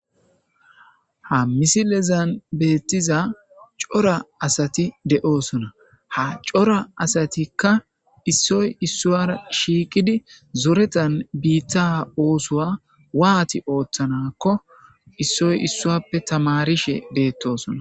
Ha misilezan beettiza cora asati de'osona ha cora asatikka issoy issuara shiiqidi zoretan biitta oosoa waati ooththanakko issoy issuappe tamarishe beettosona.